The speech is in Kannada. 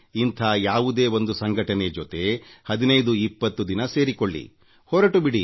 ಇಂಥ ಯಾವುದೇ ಒಂದು ಸಂಘಟನೆ ಜೊತೆ 1520 ದಿನ ಸಂಪರ್ಕ ಇಟ್ಟುಕೊಳ್ಳಿ ಹೊರಟು ಬಿಡಿ